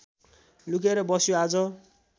लुकेर बस्यो आज